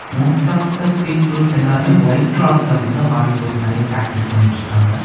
Most of the peoples எல்லாருமே white கிளாத்ல வந்து ஆரி ஒர்க் நெறையா பிராக்டிஸ் பண்ணிட்டிருக்காங்க.